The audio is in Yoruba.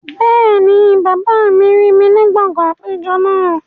Bẹ́ẹ̀ni, bàbá mi rí mi ní gbọ̀ngàn àpéjọ náà